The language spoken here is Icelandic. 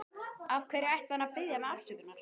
Af hverju ætti hann að biðja mig afsökunar?